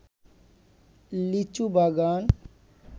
লিচু বাগান